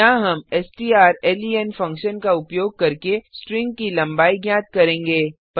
यहाँ हम strlen function का उपयोग करके स्ट्रिंग की लंबाई ज्ञात करेंगे